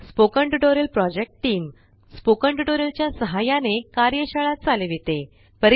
spoken tutorial project team spoken tutorial च्या सहाय्याने कार्यशाळा चालविते